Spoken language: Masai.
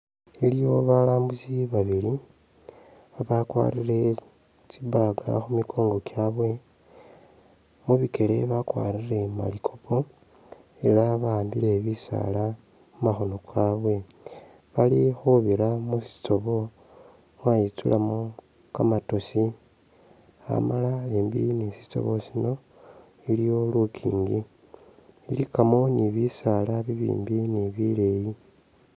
Iliwo balambusi babili abakwarire tsibag khu mikongo kyabwe, mubikele bakwarire malikopo ela bahambile bisaala mumakhono kabwe bali khubira mu sitobo mwayitsulamu kamatosi amala embi ni sitobo sino iliwo lukingi, ilikamu ni bisaala ibimbi ni bileyi.